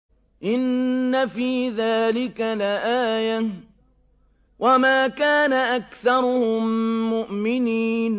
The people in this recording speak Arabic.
إِنَّ فِي ذَٰلِكَ لَآيَةً ۖ وَمَا كَانَ أَكْثَرُهُم مُّؤْمِنِينَ